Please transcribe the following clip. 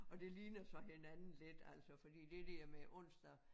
Og det ligner så hinanden lidt altså fordi det der med onsdag